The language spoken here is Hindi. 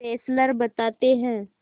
फेस्लर बताते हैं